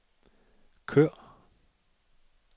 kør